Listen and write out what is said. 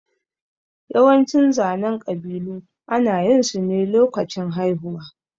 Yawancin zanen ƙabilu ana yin su ne lokacin haihuwa.